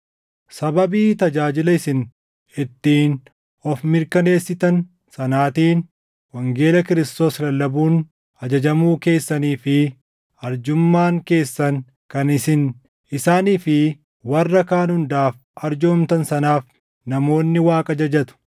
Sababii tajaajila isin ittiin of mirkaneessitan sanaatiin, wangeela Kiristoos lallabuun ajajamuu keessanii fi arjummaan keessan kan isin isaanii fi warra kaan hundaaf arjoomtan sanaaf namoonni Waaqa jajatu.